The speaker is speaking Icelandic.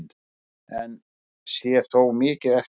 Enn sé þó mikið eftir.